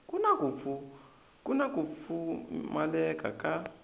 ku na ku pfumaleka ka